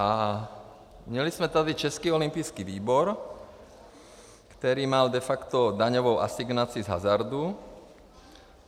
A měli jsme tady Český olympijský výbor, který měl de facto daňovou asignaci z hazardu.